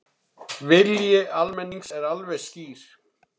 Vilji almennings er alveg skýr